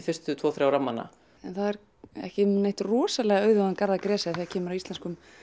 fyrstu tvo þrjá rammana en það er ekki um neitt rosalega auðugan garð að gresja þegar kemur að íslenskum